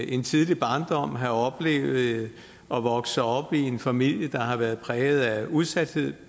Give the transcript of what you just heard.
en tidlig barndom have oplevet at vokse op i en familie der har været præget af udsathed